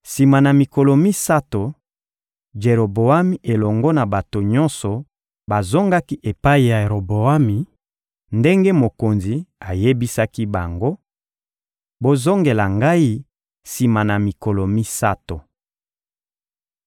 Sima na mikolo misato, Jeroboami elongo na bato nyonso bazongaki epai ya Roboami, ndenge mokonzi ayebisaki bango: «Bozongela ngai sima na mikolo misato.»